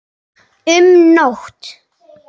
Um nótt